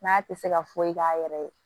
N'a tɛ se ka foyi k'a yɛrɛ ye